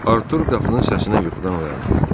Artur qapının səsinə yuxudan oyandı.